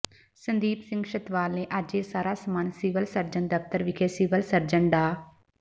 ਸੰਦੀਪ ਸਿੰਘ ਛਤਵਾਲ ਨੇ ਅੱਜ ਇਹ ਸਾਰਾ ਸਮਾਨ ਸਿਵਲ ਸਰਜਨ ਦਫ਼ਤਰ ਵਿਖੇ ਸਿਵਲ ਸਰਜਨ ਡਾ